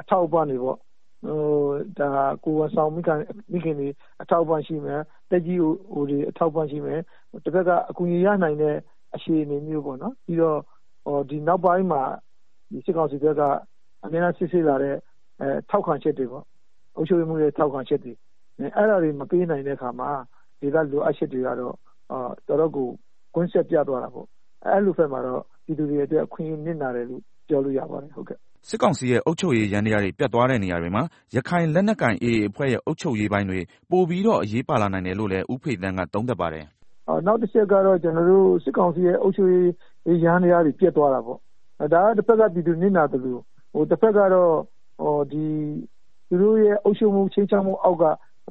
အထောက်အပံ့တွေ၊ ကိုယ်ဝန်ဆောင်မိခင်တွေအထောက်အပံ့တွေ၊ သက်ကြီးရွယ်အိုတွေအတွက် အထောက်အပံ့ရှိမယ်၊ တဘက်က အကူအညီရနိုင်တဲ့ဟာမျိုးပေါ့။ ပြီးတော့ ဒီနောက်ပိုင်းမှာ စစ်ကောင်စီဘက်က စစ်ဆေးလာတဲ့ ထောက်ခံချက်တွေ၊ အုပ်ချုပ်ရေးမှူးတွေထောက်ချက်ခံတွေ မပေးနိုင်တဲ့အခါ ဒေသလိုအပ်ချက်တွေကတော့ ကွင်းဆက်ပြတ်သွားတာပေါ့၊ အဲလိုဘက်မှာတော့ ပြည်သူတွေအတွက် အခွင့်အရေးနစ်နာတယ်လို့ ပြောလို့ ရပါတယ်။” စစ်ကောင်စီရဲ့ အုပ်ချုပ်ရေးယန္တရားတွေ ပျက်သွားတဲ့နေရာတွေမှာ ရခိုင်လက်ကိုင် AA အဖွဲ့ရဲ့ အုပ်ချုပ်ရေးပိုင်းတွေ ပိုပြီးတော့ အရေးပါလာနိုင်တယ်လို့လည်း ဦးဖေသန်းကသုံးသပ်ပါတယ်။ “ နောက်တချက်ကတော့ ကျနော်တို့ စစ်ကောင်စီရဲ့ အုပ်ချုပ်ရေး ယန္တရားတွေ ပျက်သွား တာပေါ့၊ ဒါတဘက် ပြည်သူနစ်နာသလို တဘက်က သူတို့ရဲ့အုပ်ချုပ်မှုအောက်က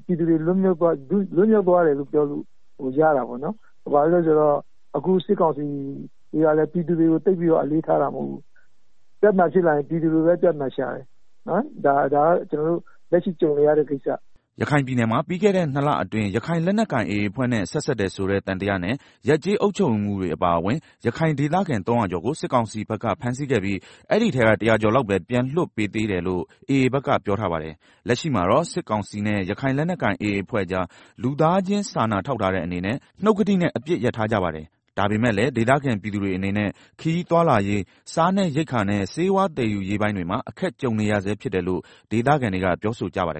ပြည်သူတွေလွတ်မြောက်သွားတယ်လို့ ပြောလို့ရတာပေါ့၊ ဘာလို့လဲဆိုတော့ အခုစစ်ကောင်စီကလည်း ပြည်သူတွေကို သိပ်ပြီးတော့ အလေးထားတာမဟုတ်ဘူး။ ပြဿနာဖြစ်လာရင် ပြည်သူကိုပဲ ပြဿနာရှာတယ်။ ဒါက ကျနော်တို့ လက်ရှိကြုံနေရတဲ့ ကိစ္စပေါ့။” ရခိုင်ပြည်နယ်မှာ ပြီးခဲ့တဲ့နှစ်လအတွင်းက ရခိုင်လက်နက်ကိုင် AA အဖွဲ့နဲ့ ဆက်စပ်တယ်ဆိုတဲ့ သံသယနဲ့ ရပ်ကျေးအုပ်ချုပ်ရေးမှူးတွေအပါအဝင် ရခိုင်ဒေသခံ ၃၀၀ ကျော်ကို စစ်ကောင်စီဘက်က ဖမ်းဆီးခဲ့ပြီး အဲဒီထဲက ၁၀၀ ကျော်လောက်ပဲ ပြန်လွှတ်ပေးသေးတယ်လို့ AA ဘက်က ပြောထားပါတယ်။ လက်ရှိမှာတော့ စစ်ကောင်စီနဲ့ ရခိုင်လက်နက်ကိုင် AA အဖွဲ့ကြား လူသားချင်းစာနာထောက်ထားတဲ့အနေနဲ့ နှုတ်ကတိနဲ့ အပစ်ရပ်ထားကြပါတယ်။ ဒါပေမယ့်လည်း ဒေသခံပြည်သူတွေအနေနဲ့ ခရီးသွားလာရေး၊ စားနပ်ရိက္ခာနဲ့ ဆေးဝါးသည်ယူရေးပိုင်းတွေမှာ အခက်ကြုံနေရဆဲဖြစ်တယ်လို့ ဒေသခံတွေကပြောဆိုကြပါတယ်